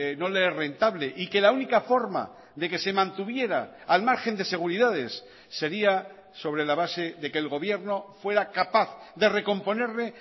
no le es rentable y que la única forma de que se mantuviera al margen de seguridades sería sobre la base de que el gobierno fuera capaz de recomponerle